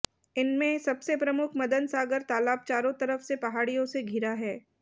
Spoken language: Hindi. इनमें सबसे प्रमुख मदन सागर तालाब चारों तरफ से पहाडि़यों से घिरा है